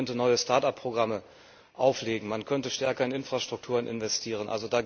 Man könnte neue Start up Programme auflegen, man könnte stärker in Infrastrukturen investieren.